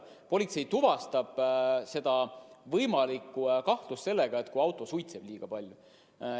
Politsei tuvastab võimaliku rikkumise siis, kui auto suitseb liiga palju.